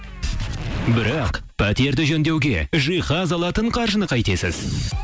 бірақ пәтерді жөндеуге жиһаз алатын қаржыны қайтесіз